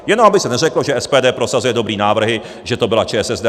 Jenom aby se neřeklo, že SPD prosazuje dobré návrhy, že to byla ČSSD.